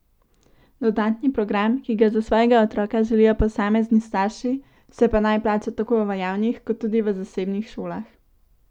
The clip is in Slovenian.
Dodatni program, ki ga za svojega otroka želijo posamezni starši se pa naj plača tako v javnih kot tudi v zasebnih šolah.